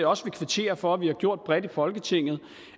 også vil kvittere for at vi har gjort bredt i folketinget